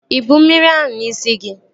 Ịbu mmiri ahụ n'isi gị?